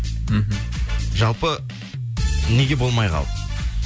мхм жалпы неге болмай қалды